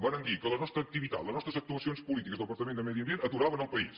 varen dir que la nostra activitat les nostres actuacions polítiques del departament de medi ambient aturaven el país